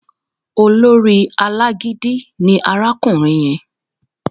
Olórí alágídí ni arákùnrin yẹn